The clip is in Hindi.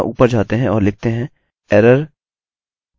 कृपया मेरे द्वारा बनाया गया एररerror रिपोर्टिंग ट्यूटोरियल देखिये यदि आपने नहीं देखा है